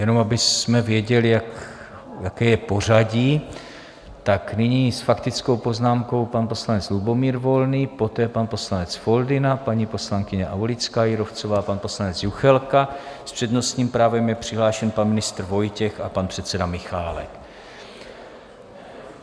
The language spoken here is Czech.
Jenom abychom věděli, jaké je pořadí, tak nyní s faktickou poznámkou pan poslanec Lubomír Volný, poté pan poslanec Foldyna, paní poslankyně Aulická Jírovcová, pan poslanec Juchelka, s přednostním právem je přihlášen pan ministr Vojtěch a pan předseda Michálek.